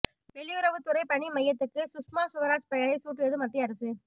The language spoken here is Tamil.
வெளியுறவுத்துறை பணி மையத்துக்கு சுஷ்மா சுவராஜ் பெயரை சூட்டியது மத்திய அரசு